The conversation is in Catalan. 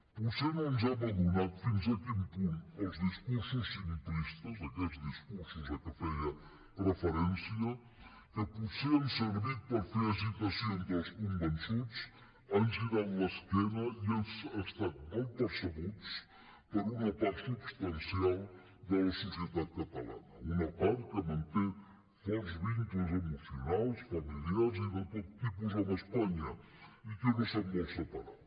potser no ens n’hem adonat fins a quin punt els discursos simplistes aquests discursos a què feia referència que potser han servit per fer excitació entre els convençuts han girat l’esquena i han estat mal percebuts per una part substancial de la societat catalana una part que manté forts vincles emocionals familiars i de tot tipus amb espanya i que no se’n vol separar